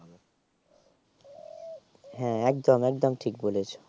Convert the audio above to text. হ্যাঁ একদম একদম ঠিক বলেছো